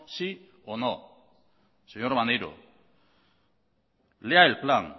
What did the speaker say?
sí o no señor maneiro lea el plan